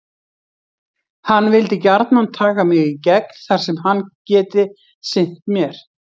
Hann vilji gjarnan taka mig í gegn þar sem hann geti sinnt mér.